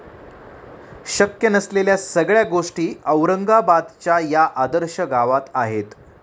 शक्य नसलेल्या सगळ्या गोष्टी औरंगाबादच्या या 'आदर्श' गावात आहेत!